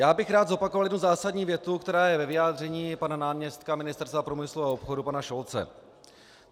Já bych rád zopakoval jednu zásadní větu, která je ve vyjádření pana náměstka ministerstva průmyslu a obchodu, pana Šolce.